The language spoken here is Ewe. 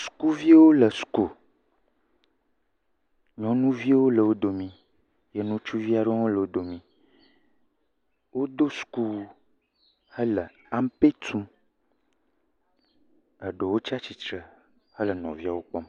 Sukuviawo le suku, nyɔnuviwo le wò domi ye ŋutsuvi aɖe hã le wò domi. wodo sukuwu hele ampe tum. Aɖewo tsia tsitre hele nɔviawo kpɔm.